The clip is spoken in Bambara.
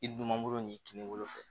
I dun man bolo n'i tunkolo fɛ